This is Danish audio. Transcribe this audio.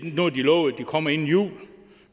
lovet at de kommer inden jul